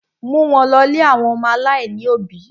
Mú wọn lọ̀ ilé àwọn ọmọ aláìní òbí!